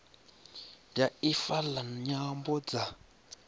ya ifa la nyambo dza